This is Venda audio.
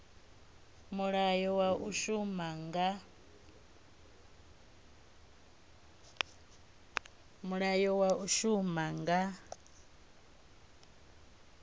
mulayo wa u shuma nga